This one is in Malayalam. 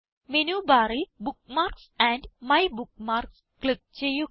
മേനു ബാറിൽ ബുക്ക്മാർക്സ് ആൻഡ് മൈബുക്ക്മാർക്സ് ക്ലിക്ക് ചെയ്യുക